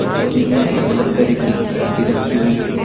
कटोरी में अलग अलग तरीके की सब्जी रखी हुई है।